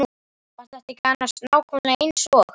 Var þetta ekki annars nákvæmlega eins og.